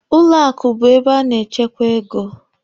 Ụlọ akụ bụ ebe a na-echekwa ego.